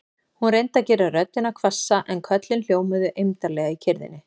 Hún reyndi að gera röddina hvassa en köllin hljómuðu eymdarlega í kyrrðinni.